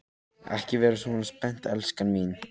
Ekki vera svona spennt, elskan mín.